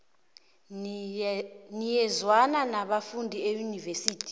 niyazwana nibafundi eunivesithi